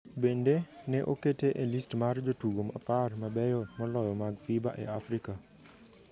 Bende, ne okete e list mar jotugo apar mabeyo moloyo mag FIBA ​​e Afrika